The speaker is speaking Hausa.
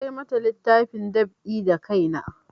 Na kai mata littafin da na dab'i da kai na